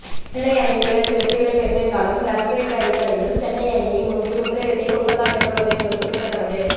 சென்னை அணியும் இரண்டு வெற்றிகளை பெற்றிருந்தாலும் ரன்ரேட் அடிப்படையில் சென்னை அணியை முந்தி முதலிடத்தை கொல்கத்தா பெற்றுள்ளது என்பது குறிப்பிடத்தக்கது